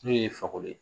N'o ye fakoli ye